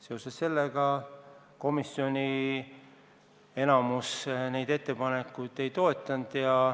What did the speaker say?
Seoses sellega enamik komisjonist neid ettepanekuid ei toetanud.